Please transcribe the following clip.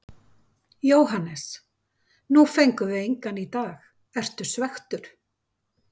Jóhannes: Nú fengum við engan í dag, ertu svekktur?